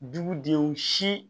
Dugudenw si